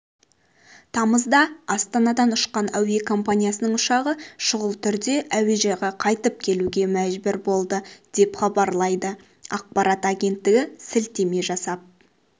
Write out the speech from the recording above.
тамызда астанадан ұшқан әуе компаниясының ұшағы шұғыл түрде әуежайға қайтып келуге мәжбүр болды деп хабарлайды ақпарат агенттігі сілтеме жасап